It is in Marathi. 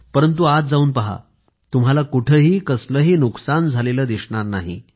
परंतु आत जाऊन पहा तुम्हाला कुठंही कसलंही नुकसान झालेलं दिसणार नाही